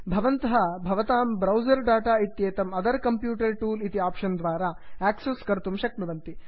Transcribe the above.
भवन्तः भवतां browser data इत्येतं अदर् कम्प्यूटर् टूल् इति आप्षन् द्वारा आक्सस् कर्तुं शक्यते